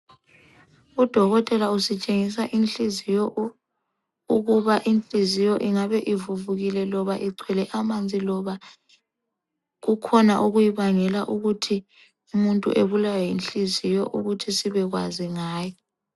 Udokotela usitshengisa inhliziyo, ukuba inhliziyo ingabe ivuvukile loba igcwele amanzi loba kukhona okuyibangela ukuthi umuntu ebulawe yinhliziyo ukuthi sibekwazi ngayo.